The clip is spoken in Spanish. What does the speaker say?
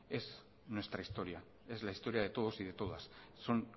es nuestra historia es la historia de todos y de todas son